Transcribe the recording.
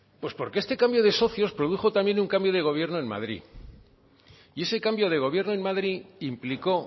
pues porque este cambio de socios produjo también un cambio de gobierno en madrid y ese cambio de gobierno en madrid implicó